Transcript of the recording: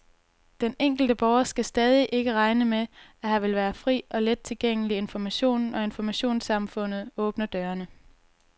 Den enkelte borger skal stadig ikke regne med, at her vil være fri og let tilgængelig information, når informationssamfundet åbner dørene.